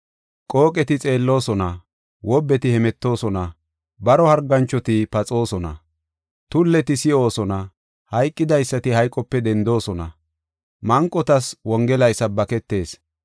Qooqeti xeelloosona, wobbeti hemetoosona, baro harganchoti paxoosona, tulleti si7oosona, hayqidaysati hayqope dendoosona; manqotas Wongelay sabbaketees.